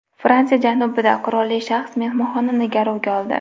Fransiya janubida qurolli shaxs mehmonxonani garovga oldi.